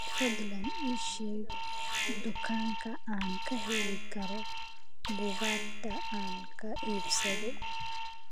fadlan ii sheeg dukaanka aan ka heli karo buugaagta aan ka iibsado